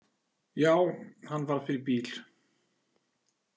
Já, hann varð fyrir bíl.